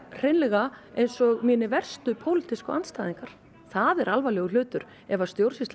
hreinlega eins og mínir verstu pólitísku andstæðingar það er alvarlegur hlutur ef að stjórnsýsla